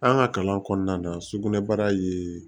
An ka kalan kɔnɔna na sugunɛbara ye